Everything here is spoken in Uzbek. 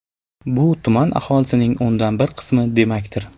Bu tuman aholisining o‘ndan bir qismi demakdir.